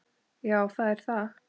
Já, það er það.